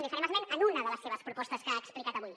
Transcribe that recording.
li farem esment d’una de les seves propostes que ha explicat avui